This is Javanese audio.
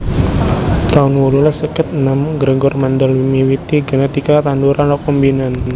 taun wolulas seket enem Gregor Mendel miwiti genetika tanduran rekombinan